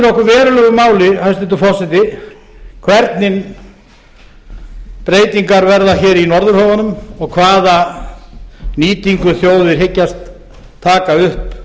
okkur verulegu máli hæstvirtur forseti hvernig það skiptir okkur verulegu máli hæstvirtur forseti hvernig breytingar verða hér í norðurhöfunum og hvaða nýtingu þjóðir hyggjast taka upp